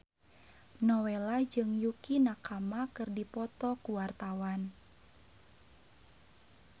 Nowela jeung Yukie Nakama keur dipoto ku wartawan